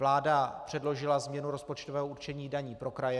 Vláda předložila změnu rozpočtového určení daní pro kraje.